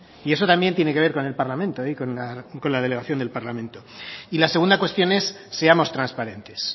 y eso también tiene que ver con el parlamento y con la delegación del parlamento y la segunda cuestión es seamos transparentes